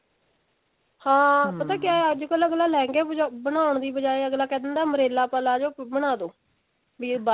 ਅੱਛਾ ਹਾਂ ਪਤਾ ਕਿਆ ਹੈ ਅੱਜਕਲ ਆਗਲਾ ਲਹਿੰਗੇ ਬਣਾਉਣ ਦੀ ਬਿਜਾਏ ਅੱਗਲਾ ਕਹਿ ਦਿੰਦਾ umbrella palazzo ਬਣਾਦੋ ਵੀ ਇਹ ਬਾਅਦ ਚੋ